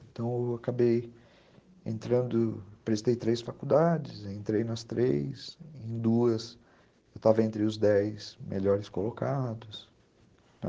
Então, eu acabei entrando, prestei três faculdades, entrei nas três, em duas, eu estava entre os dez melhores colocados.